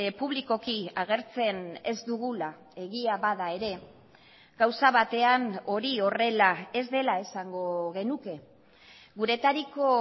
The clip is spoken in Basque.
publikoki agertzen ez dugula egia bada ere gauza batean hori horrela ez dela esango genuke guretariko